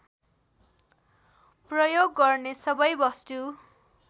प्रयोग गर्ने सबै वस्तु